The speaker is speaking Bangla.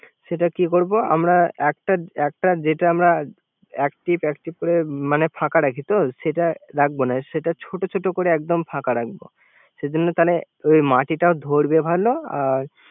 সেটা কি করব একটা একটা যেটা আমরা একটিপ একটিপ করে ফাঁকা রাখি তো, যেটা রাখবো না। সেটা ছোট ছোট করে একদম ফাঁকা রাখবো।